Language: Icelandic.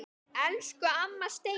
Elsku amma Steina.